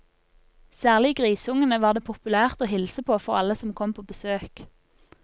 Særlig grisungene var det populært å hilse på for alle som kom på besøk.